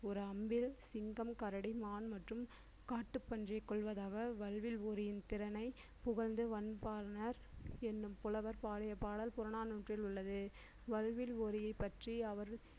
ஒரு அம்பில் சிங்கம் கரடி மான் மற்றும் காட்டுப்பன்றியை கொள்வதாக வல்வில் ஓரியும் திறனை புகழ்ந்து எண்ணும் புலவர் பாடல் புறநானூற்றில் உள்ளது வல்வில் ஓரி பற்றி